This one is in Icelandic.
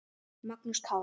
Magnús Kári.